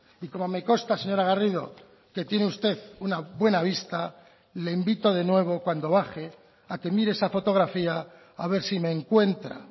y como me consta señora garrido que tiene usted una buena vista le invito de nuevo cuando baje a que mire esa fotografía haber si me encuentra